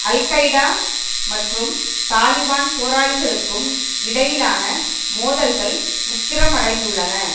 al-Qaeda மற்றும் Taliban போராளிகளுக்கும் இடையிலான மோதல்கள் உக்கிரமடைந்துள்ளன